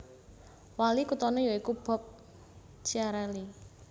Wali kuthané ya iku Bob Chiarelli